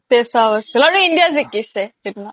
paisa vasool আৰু India জিকিছে সিদিনা